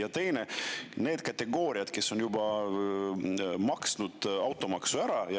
Ja teiseks, on, kes on juba maksnud automaksu ära.